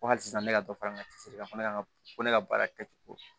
Ko hali sisan ne ka dɔ fara n ka kan fana kan ka ko ne ka baara kɛ ten ko